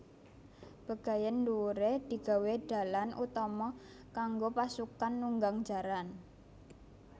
Bagéyan dhuwuré digawé dalan utama kanggo pasukan nunggang jaran